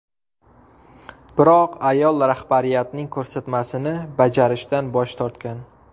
Biroq ayol rahbariyatning ko‘rsatmasini bajarishdan bosh tortgan.